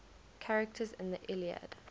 characters in the iliad